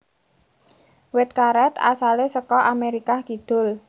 Wit karet asale saka Amerikah Kidul